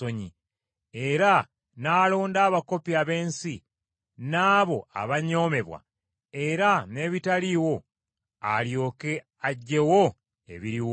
era n’alonda abakopi ab’ensi n’abo abanyoomebwa; era n’ebitaliiwo alyoke aggyewo ebiriwo,